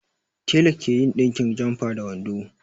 Tela ke yin ɗinkin jamfa da wando